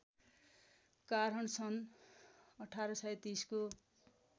कारण सन् १८३० को